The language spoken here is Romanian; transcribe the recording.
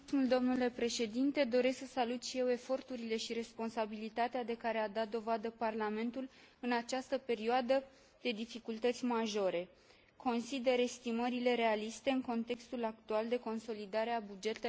Doresc să salut și eu eforturile și responsabilitatea de care a dat dovadă Parlamentul în această perioadă de dificultăți majore. Consider estimările realiste, în contextul actual de consolidare a bugetelor naționale.